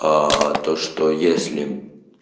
а то что если